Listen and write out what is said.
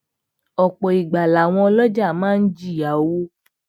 òpò ìgbà làwọn olojaà máa ń jìyà owó